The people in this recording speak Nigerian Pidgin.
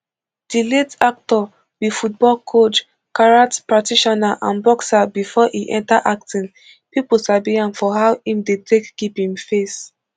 di late actor be football coach karate practitioner and boxer bifor e enta acting pipo sabi am for how im dey take keep im face